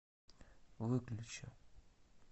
выключи